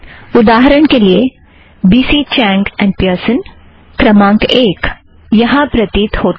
उदाहरण के लिए B C Chang and Pearson क्रमांक एक यहाँ प्रतीत होता है